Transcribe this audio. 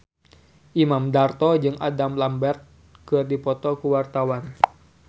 Imam Darto jeung Adam Lambert keur dipoto ku wartawan